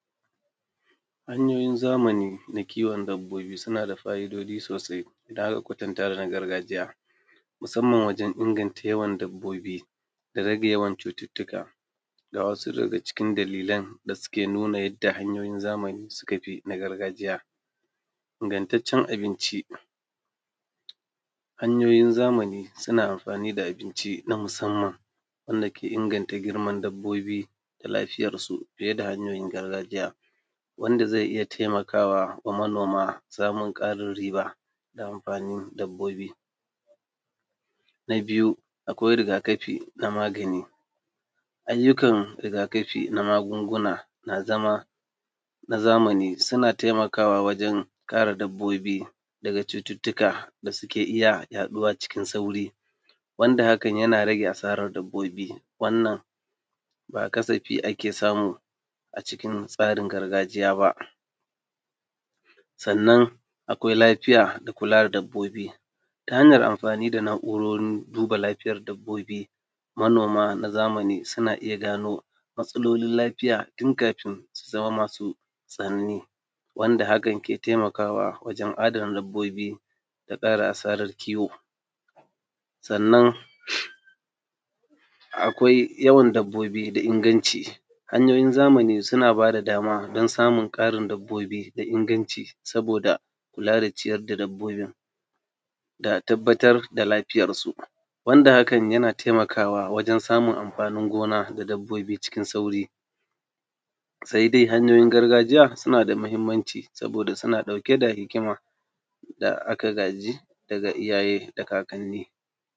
Hanyoyin shayarwa, shayarwa yakanzo da sauƙi wa uwa da kuma ɗanta idan akabi hanyoyin da suka dace wajen shayra da ɗa nono. Wannan hoto a nuna mana hanyoyi guda biyar wanda uwa zata iyya bi domin samun sauƙi wajen shayarwa, wanda hakan yafi kyau ga lafiyan ɗan nata. Hanya ta farko shine wanda uwa zata kwanta akan bayanta sannan ta ɗora ɗan kan kirjinta zai rarrafo da kanshi sannan ya nemi wannan nono ɗin yakai bakinsa. Hanya na biyu shine wannan hoto dake ƙasan wannan na farkon, wanda uwa ɗin ta lankwasa hannunta dake ɓagaren nono dazata bawa ɗan sannan ta tallabo nonon da hannun da zatabawa ɗan, ɗayan hannun kuma ya tallafo ɗuwawunshi da ƙafafuwansa tamanna cikin sa da cikinta sannan yakeshan wannan nono ɗin. Hanya na gaba shine hanyan wannan hoto da yake tsakiya ɗin shikuma wannan hoto irrin na bayane sai dai hannun da yake ɓangare nono ɗin bashine wannan karo kw tallafo yaro saidai hannun da yake ɗayan ɓangarenne shine ake tallafo wuyan yaron dashi, sa’annan kuma ɗuwawun yaron a tsakanin wannan hannu daya tallafoshi ɗin a manna bakinshi da nono ɗin a bashi yarinƙasha, sai a ɗan tallafo nono ɗin da hannun dake ɓagaren nono ɗin. sannan hanya nagaba shine wannan wanda ake kiranshi futbol hol, wato hanyan yanda ake riƙe wato kwallon ƙafa, za’a riƙe yarone tankar yanda ake riƙe kwallon ƙafa, za’a naɗo hannune sa’annan a sashi a tsakanin wannan hannu da aka naɗo na ɓagaren wannan nono ɗin da za’a bashi tafukan hannun zasu tallafe kayinshi, sannan su daidai ta kayinshi a daidai kan nono ɗin da akeso yasha. Hanya na ƙarshe shine wacce uwa zata kwanta a ɓagaren gefen ɓangarenta guda ɗaya sannan shima yaron za’a kwantar dashi a gefen ɓanagarenshi guda ɗaya, sannan a fuskanto dashi yanda zai kama nono ɗin yasha da kanshi. Wa ‘yan’ nan hanyoyi idan aka bisu shayarwa yakan zo da sauƙi ga uwa da kuma ‘yatta.